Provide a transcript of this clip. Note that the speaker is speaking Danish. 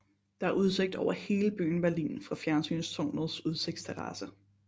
Der er udsigt over hele byen Berlin fra fjernsynstårnets udsigtsterrasse